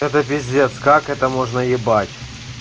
это пиздец как это можно ебать